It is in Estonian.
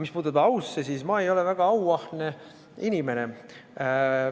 Mis puudutab au, siis ma ei ole väga auahne inimene.